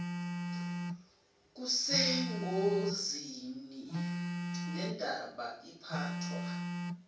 kusengozini lendaba iphathwa